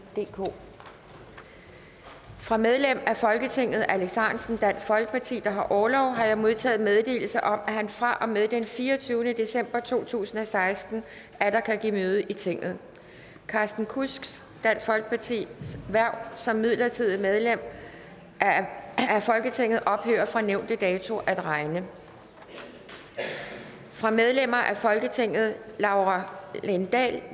DK fra medlem af folketinget alex ahrendtsen der har orlov har jeg modtaget meddelelse om at han fra og med den fireogtyvende december to tusind og seksten atter kan give møde i tinget carsten kudsks hverv som midlertidigt medlem af folketinget ophører fra nævnte dato at regne fra medlemmer af folketinget laura lindahl